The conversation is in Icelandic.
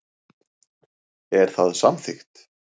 Er það samþykkt?